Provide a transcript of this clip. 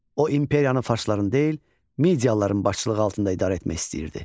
O, imperiyanı farsların deyil, midiyalıların başçılığı altında idarə etmək istəyirdi.